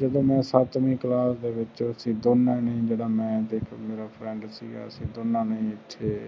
ਜਦੋ ਮੈਂ ਸੱਤਵੀ ਕਲਾਸ ਵਿਚ ਸੀ ਅਸੀਂ ਦੋਨੋ ਨੇ ਜੇਦਾ ਮੈਂ ਸੀ ਇਕ ਮੇਰਾ friend ਸੀ ਅਸੀਂ ਦੋਨਾਂ ਨੇ ਓਥੇ